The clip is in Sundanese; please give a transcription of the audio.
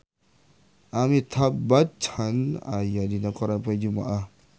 Amitabh Bachchan aya dina koran poe Jumaah